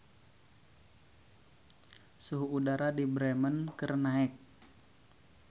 Suhu udara di Bremen keur naek